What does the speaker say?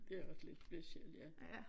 Det er også lidt specielt ja